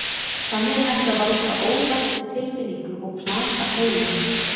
Þannig er hægt að valda óvæntri tilfinningu og plata heilann.